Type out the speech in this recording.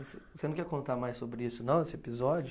Você, você não quer contar mais sobre isso não, esse episódio?